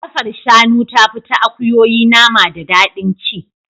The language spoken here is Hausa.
Kafar shanu tafi ta akuyoyi nama da daɗin ci.